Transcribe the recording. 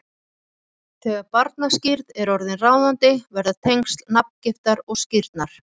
Þegar barnaskírn er orðin ráðandi verða tengsl nafngiftar og skírnar